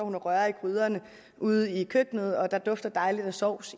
rører i gryderne ude i køkkenet der dufter dejligt af sovs